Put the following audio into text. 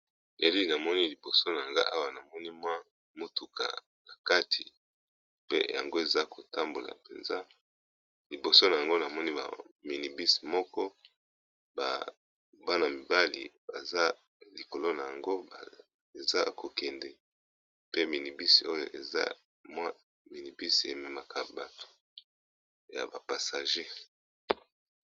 ELili , namoni liboso na nga awa , namoni mwa motuka na kati mpe yango eza kotambola mpenza. liboso na yango na moni ba minibusi moko, bana mibali baza likolo na yango eza ya kokende pe minibusi, oyo eza mwa minibus ememaka bato ya ba passager .